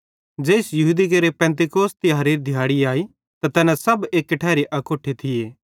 ज़ेइस यहूदी केरे पिन्तेकुस्त तिहारेरी दिहाड़ी अई त तैना सब एक्की ठैरी अकोट्ठे थिये